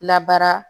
Labaara